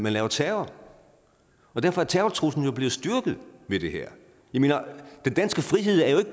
lave terror og derfor er terrortruslen jo blevet styrket ved det her jeg mener den danske frihed er jo